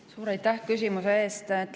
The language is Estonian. Suur aitäh küsimuse eest!